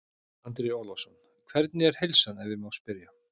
Andri Ólafsson: Hvernig er heilsan ef ég má spyrja?